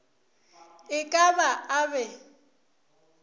e ka ba a be